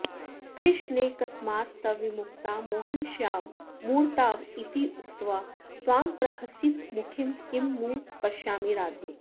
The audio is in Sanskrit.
कृष्णे कस्मात् तव विमुखता मोहनश्याममूर्ताव् इत्युक्त्वा त्वां प्रहसितमुखीं किं नु पश्यामि राधे